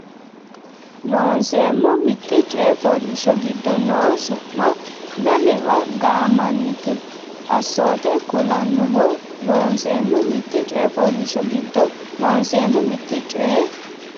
Loonseemmo Mitte coy fooliishsho giddo noo su ma lamewa gaammannita assoote kulannoho Loonseemmo Mitte coy fooliishsho giddo Loonseemmo Mitte coy.